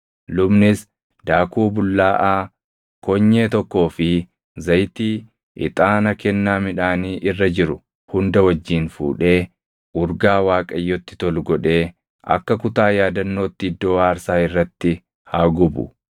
Lubnis daakuu bullaaʼaa konyee tokkoo fi zayitii, ixaana kennaa midhaanii irra jiru hunda wajjin fuudhee urgaa Waaqayyotti tolu godhee akka kutaa yaadannootti iddoo aarsaa irratti haa gubu.